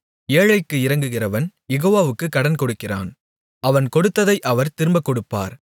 ஏழைக்கு இரங்குகிறவன் யெகோவாவுக்குக் கடன்கொடுக்கிறான் அவன் கொடுத்ததை அவர் திரும்பக் கொடுப்பார்